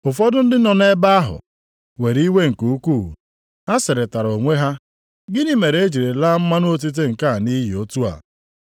Ụfọdụ ndị nọ nʼebe ahụ were iwe nke ukwuu. Ha sịrịtara onwe ha, “Gịnị mere e jiri laa mmanụ otite nke a nʼiyi otu a?